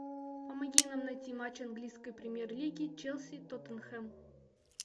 помоги нам найти матч английской премьер лиги челси тоттенхэм